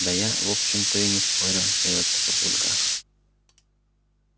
да я в общем-то и не спорю сдаётся папулька